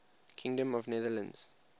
kingdom of the netherlands